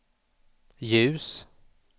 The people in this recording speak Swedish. ljus